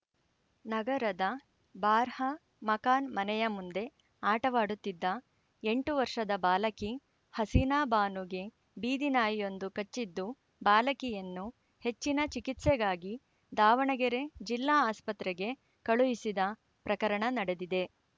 ನಗರದ ಬಾರ್ಹ ಮಕಾನ್‌ ಮನೆಯ ಮುಂದೆ ಆಟವಾಡುತ್ತಿದ್ದ ಎಂಟು ವರ್ಷದ ಬಾಲಕಿ ಹಸೀನಾ ಬಾನುಗೆ ಬೀದಿನಾಯಿಯೊಂದು ಕಚ್ಚಿದ್ದು ಬಾಲಕಿಯನ್ನು ಹೆಚ್ಚಿನ ಚಿಕಿತ್ಸೆಗಾಗಿ ದಾವಣಗೆರೆ ಜಿಲ್ಲಾ ಆಸ್ಪತ್ರೆಗೆ ಕಳುಹಿಸಿದ ಪ್ರಕರಣ ನಡೆದಿದೆ